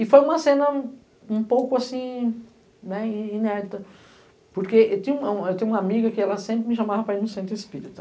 E foi uma cena um pouco assim inédita, porque eu tenho uma amiga que ela sempre me chamava para ir no centro espírita.